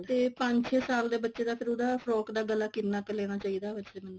ਤੇ ਪੰਜ ਛੇ ਸਾਲ ਦੇ ਬੱਚੇ ਦਾ ਫਿਰ ਉਹਦਾ frock ਦਾ ਗਲਾ ਕਿੰਨਾ ਕ ਲੈਣਾ ਚਾਹੀਦਾ ਵੈਸੇ ਮੈਨੂੰ